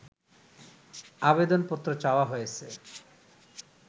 আবেদনপত্র চাওয়া হয়েছে